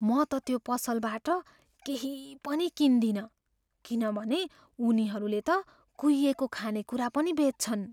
म त त्यो पसलबाट केही पनि किन्दिनँ, किनभने उनीहरूले त कुहिएको खानेकुरा पनि बेच्छन्।